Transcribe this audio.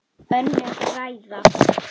Önnur ræða.